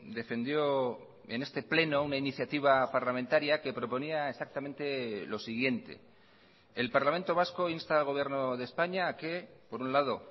defendió en este pleno una iniciativa parlamentaria que proponía exactamente lo siguiente el parlamento vasco insta al gobierno de españa a que por un lado